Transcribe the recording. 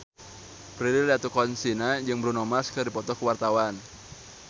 Prilly Latuconsina jeung Bruno Mars keur dipoto ku wartawan